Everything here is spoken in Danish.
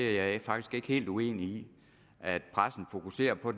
er jeg faktisk ikke helt uenig i at pressen fokuserer på